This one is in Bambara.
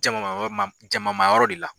Jama ma jama ma yɔrɔ de la